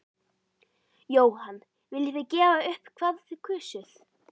Jóhann: Viljið þið gefa upp hvað þið kusuð?